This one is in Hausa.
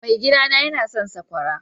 Mai gida na yawan son sakwara.